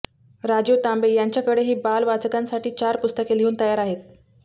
राजीव तांबे यांच्याकडेही बाल वाचकांसाठी चार पुस्तके लिहून तयार आहेत